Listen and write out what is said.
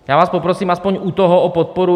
Já vás poprosím aspoň u toho o podporu.